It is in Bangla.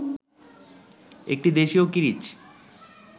একটি দেশীয় কিরিচ